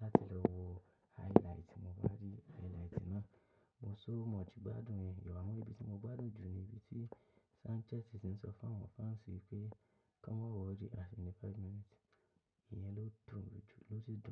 láti lọ wo highlight, mo bá rí highlight náà, mo so much gbádùn rẹ̀. Awon ibi tí mo gbádùn jù ni ibi tí Sanchez ti ń sọ fún àwọn fans wí pé kí wọ́n mọ̀ worry action ní five minutes. Ìyẹn ló dùn mí jù ló sì dùn.